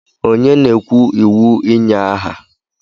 Onye na-ekwu iwu ịnye aha?